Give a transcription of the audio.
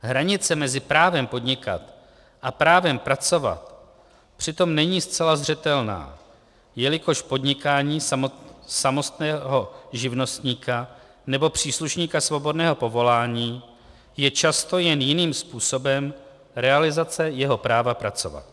Hranice mezi právem podnikat a právem pracovat přitom není zcela zřetelná, jelikož podnikání samostatného živnostníka nebo příslušníka svobodného povolání je často jen jiným způsobem realizace jeho práva pracovat.